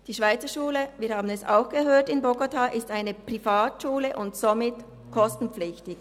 Die Schweizerschule in Bogotá – wir haben es gehört – ist eine Privatschule und somit kostenpflichtig.